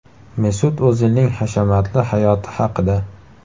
Mesut O‘zilning hashamatli hayoti haqida.